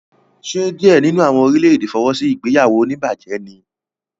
Ṣe diẹ nínú àwọn orílè-èdè fọwọ́sí ìgbéyàwó onibaje níí?